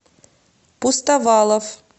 пустовалов